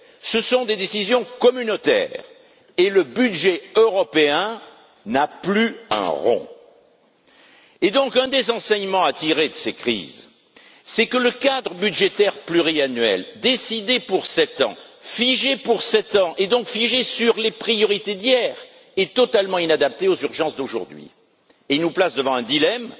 ce sont des décisions communautaires, et le budget européen n'a plus un rond! Un des enseignements à tirer de ces crises, c'est que le cadre budgétaire pluriannuel décidé pour 7 ans, figé pour 7 ans, donc figé sur les priorités d'hier, est totalement inadapté aux urgences d'aujourd'hui et nous place devant un dilemme